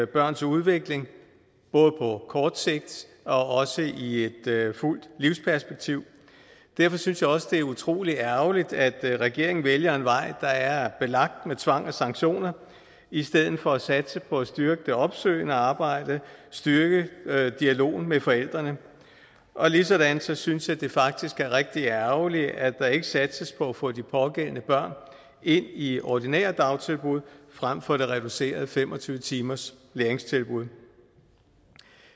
børns udvikling både på kort sigt og også i et fuldt livsperspektiv derfor synes jeg også det er utrolig ærgerligt at regeringen vælger en vej der er belagt med tvang og sanktioner i stedet for at satse på at styrke det opsøgende arbejde styrke dialogen med forældrene og ligesådan synes jeg at det faktisk er rigtig ærgerligt at der ikke satses på at få de pågældende børn ind i ordinære dagtilbud frem for det reducerede fem og tyve timerslæringstilbud